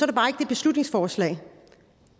det beslutningsforslag